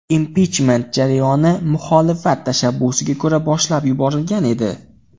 Impichment jarayoni muxolifat tashabbusiga ko‘ra boshlab yuborilgan edi.